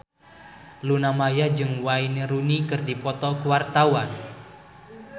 Luna Maya jeung Wayne Rooney keur dipoto ku wartawan